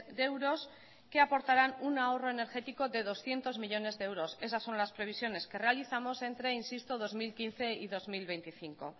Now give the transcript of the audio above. de euros que aportarán un ahorro energético de doscientos millónes de euros esas son más previsiones que realizamos entre insisto dos mil quince y dos mil veinticinco